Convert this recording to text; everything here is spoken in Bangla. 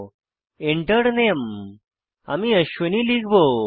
Enter Name আমি অশ্বিনী লিখব